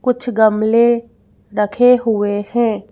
कुछ गमले रखे हुए हैं।